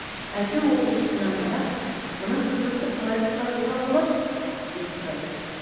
әлгі оқушысына қарап мына сызықты қалай қысқартуға болады деп сұрайды